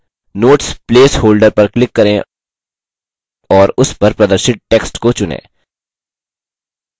notes place holder पर click करें और उस पर प्रदर्शित text को चुनें